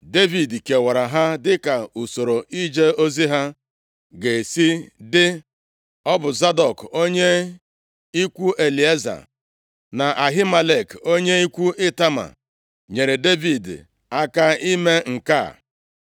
Devid kewara ha dịka usoro ije ozi ha ga-esi dị. Ọ bụ Zadọk onye ikwu Elieza, na Ahimelek onye ikwu Itama nyeere Devid aka ime nke a.